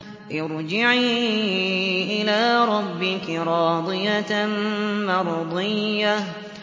ارْجِعِي إِلَىٰ رَبِّكِ رَاضِيَةً مَّرْضِيَّةً